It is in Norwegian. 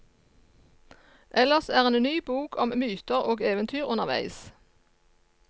Ellers er en ny bok om myter og eventyr underveis.